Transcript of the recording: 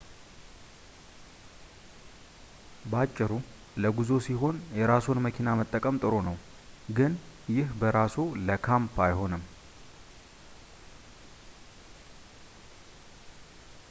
በአጭሩ፣ ለጉዞ ሲሆን የራስዎን መኪና መጠቀም ጥሩ ነው ግን ይህ በራሱ ለ"ካምፕ አይሆንም